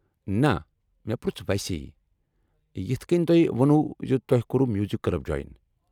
نَہ، مےٚ پرژھ ویسے، یِتھہٕ کٔنۍ تۄہہِ وونُو تۄہہِ کوٚرُو میوٗزک کٕلب جویِن۔